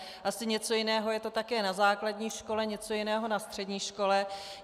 Asi něco jiného je to také na základní škole, něco jiného na střední škole.